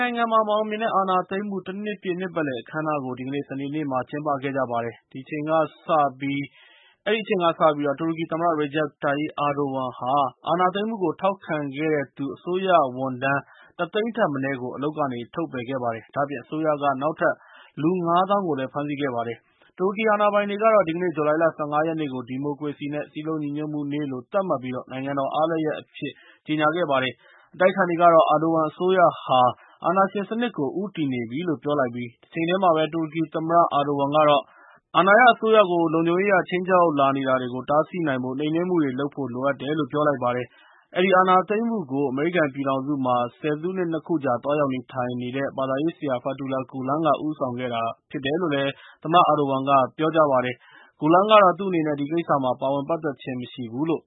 နိုင်ငံမှာ မအောင်မြင်တဲ့ အာဏာသိမ်းမှု ၁ နှစ်ပြည့် နှစ်ပတ်လည်အခမ်းအနားကို ဒီကနေ့ စနေနေ့မှာ ကျင်းပခဲ့ကြပါတယ်။ အဲဒီအချိန်ကစပြီး၊ တူရကီသမ္မတ Recep Tayyip Erdogan က အာဏာသိမ်းမှုကို ထောက်ခံတဲ့သူ အစိုးရဝန်ထမ်း ၁ သိန်းထက်မနည်းကို အလုပ်က ထုတ်ပယ်ခဲ့ပါတယ်။ ဒါ့အပြင် အစိုးရက နောက်ထပ်လူ ၅ သောင်းလောက်ကိုလည်း ဖမ်းဆီးလိုက်ပါတယ်။ တူူရကီအာဏာပိုင်တွေကတော့ ဒီကနေ့ ဇူလိုင်လ ၁၅ ရက်နေ့ကို “ဒီမိုကရေစီ နဲ့ စည်းလုံးညီညွတ်မှုနေ့” လို့ သတ်မှတ်ပြီး၊ နိုင်ငံတော်အားလပ်ရက်အဖြစ် ကြေညာခဲ့ပါတယ်။ အတိုက်အခံတွေကတော့ အာဒိုဝမ်အစိုးရဟာ အာဏာရှင်စနစ်ကို ဦးတည်နေပြီလို့ ပြောလိုက်ပြီး၊ တချိန်တည်းမှာပဲ တူရကီသမ္မတ အာဒိုဝမ်ကတော့ - အာဏာရအစိုးရကို လုံခြုံရေးအရ ခြိမ်းခြောက်လာနေတာတွေကို တားဆီးနိုင်ဖို့ နှိမ်နှင်းမှုတွေလုပ်ဖို့လိုအပ်တယ်လို့ ပြောလိုက်ပါတယ်။ အဲဒီအာဏာသိမ်းမှုကို ၊ အမေရိကန်ပြည်ထောင်စုမှာ ဆယ်စုနှစ် ၂ ခုကြာ သွားရောက်နေထိုင်နေတဲ့ ဘာသာရေးဆရာ Fethullah Gulen က ဦးဆောင်ခဲ့တာဖြစ်တယ်လို့ သမ္မတ အာဒိုဝမ်က ပြောကြားလိုက်ပါတယ်။ Gulen ကတော့ သူ့အနေနဲ့ ဒီကိစ္စမှာ ပါဝင်ပတ်သက်ခြင်းမရှိဘူးလို့